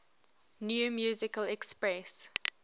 new musical express